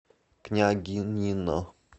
княгинино